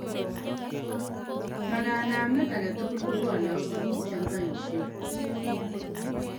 ma kanamet agetugul kobwane ak tuguk chegipoisien